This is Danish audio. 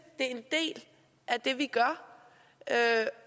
det er vi gør